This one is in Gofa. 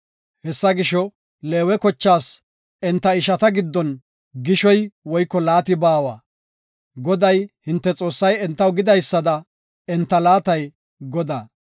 Hessa gisho, Leewe kochaas enta ishata giddon gishoy woyko laati baawa; Goday, hinte Xoossay entaw gidaysada enta laatay Godaa.